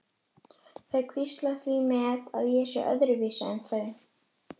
Þau hvísla því með að ég sé öðruvísi en þau.